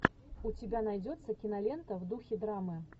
у тебя найдется кинолента в духе драмы